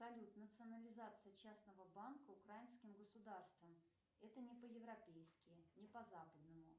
салют национализация частного банка украинским государством это не по европейски не по западному